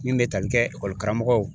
Min bɛ tali kɛ ekɔli karamɔgɔw ye